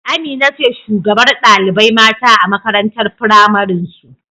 Amina ce shugabar ɗalibai mata a makarantar pramarin su